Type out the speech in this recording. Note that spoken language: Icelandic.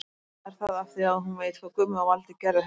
Eða er það af því að hún veit hvað Gummi og Valdi gerðu henni?